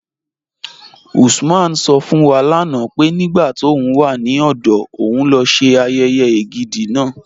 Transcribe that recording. Usman sọ̀ fún wa lánà pé nígbà tó ń wà ní ọdọ̀ ọ̀un ló ṣè ayéyé ègídi náà.